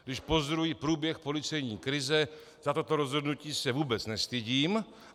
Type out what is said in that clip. Když pozoruji průběh policejní krize, za toto rozhodnutí se vůbec nestydím.